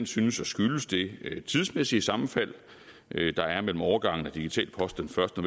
synes at skyldes det tidsmæssige sammenfald der er mellem overgangen til digital post den første